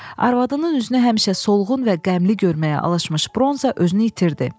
Arvadının üzünə həmişə solğun və qəmli görməyə alışmış Bronza özünü itirdi.